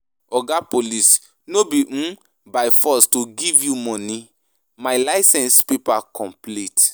Oga Police no be um by force to give you money, my license paper complete.